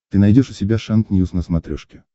ты найдешь у себя шант ньюс на смотрешке